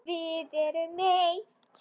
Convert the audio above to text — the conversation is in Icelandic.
Við erum eitt.